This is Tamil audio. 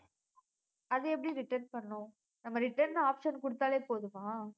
அது எப்படி return பண்ணும் நம்ம return ன option கொடுத்தாலே போதுமா